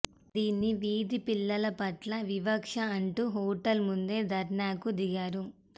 దీన్ని వీధి పిల్లల పట్ల వివక్ష అంటూ హోటల్ ముందే ధర్నాకు దిగారు